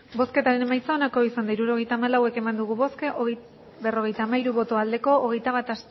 hirurogeita hamalau eman dugu bozka berrogeita hamairu bai hogeita bat